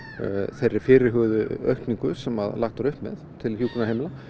þeirri fyrirhuguðu aukningu sem lagt var upp með til hjúkrunarheimila